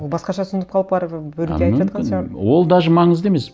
ол басқаша түсініп қалып барып біреуге айтыватқан шығар ол даже маңызды емес